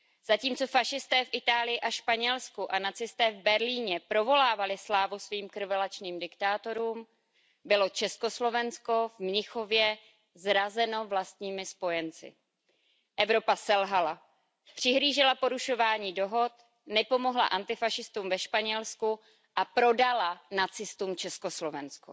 Zatímco fašisté v Itálii a ve Španělsku a nacisté v Berlíně provolávali slávu svým krvelačným diktátorům, bylo Československo v Mnichově zrazeno vlastními spojenci. Evropa selhala přihlížela porušování dohod, nepomohla antifašistům ve Španělsku a prodala nacistům Československo.